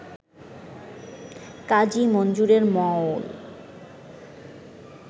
কাজী মনজুরে মওল